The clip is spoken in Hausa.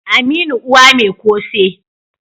aminu Uwa Mai kose